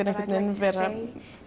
vera